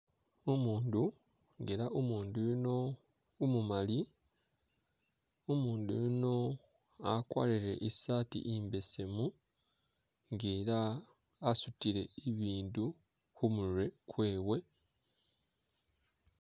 Umundu ela umundu yuno umumali umundu yuno akwarile isaati imbesemu nga elaa asutile ibindu khumurwe kwewe